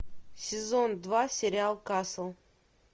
сезон два сериал касл